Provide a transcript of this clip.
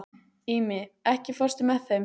Ími, ekki fórstu með þeim?